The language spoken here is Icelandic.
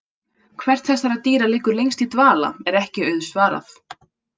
Hvert þessara dýra liggur lengst í dvala er ekki auðsvarað.